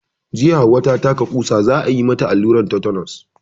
Jiya Hauwa ta taka ƙusa, za a yi mata alluran tetenos.